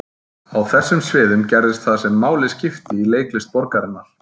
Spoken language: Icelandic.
Á þessum sviðum gerðist það sem máli skipti í leiklist borgarinnar.